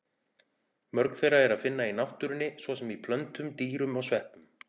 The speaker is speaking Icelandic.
Mörg þeirra er að finna í náttúrunni, svo sem í plöntum, dýrum og sveppum.